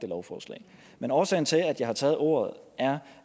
lovforslag men årsagen til at jeg har taget ordet er at